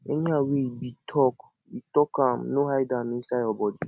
anyhow wey e be talk be talk am no hide am inside yur body